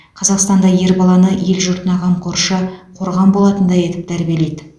қазақстанда ер баланы ел жұртына қамқоршы қорған болатындай етіп тәрбиелейді